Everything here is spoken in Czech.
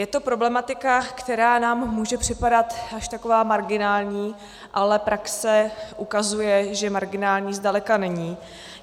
Je to problematika, která nám může připadat až taková marginální, ale praxe ukazuje, že marginální zdaleka není.